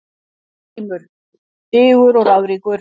GRÍMUR: Digur og ráðríkur